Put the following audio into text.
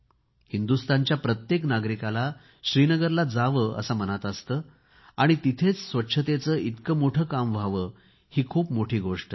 हिंदुस्तानच्या प्रत्येक नागरिकाला श्रीनगरला जावे असे मनात असते आणि तिथेच स्वच्छतेचे इतके मोठे काम व्हावे ही खूप मोठी गोष्ट आहे